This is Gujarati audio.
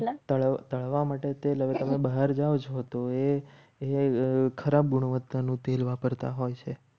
તળવા માટે તેલ હવે તમે બહાર જાઓ છો તો એ ખરાબ ગુણવત્તાનું તેલ વાપરતા હોય છે.